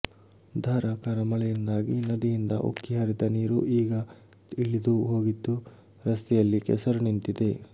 ಧಾರಾಕಾರ ಮಳೆಯಿಂದಾಗಿ ನದಿಯಿಂದ ಉಕ್ಕಿ ಹರಿದ ನೀರು ಈಗ ಇಳಿದು ಹೋಗಿದ್ದು ರಸ್ತೆಯಲ್ಲಿ ಕೆಸರು ನಿಂತಿದೆ